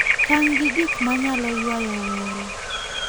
Tang' gi gik ma nyalo ywayo welo.